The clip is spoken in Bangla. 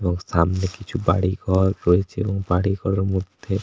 এবং সামনে কিছু বাড়ি ঘর রয়েছে এবং বাড়ি ঘরের মধ্যে --